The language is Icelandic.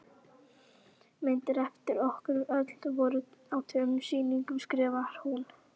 Myndir eftir okkur öll voru á tveimur sýningum skrifar hún.